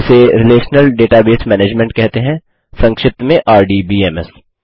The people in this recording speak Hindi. इसे रिलेशनल डेटाबेस मैनेजमेंट कहते हैं संक्षिप्त में आरडीबीएमएस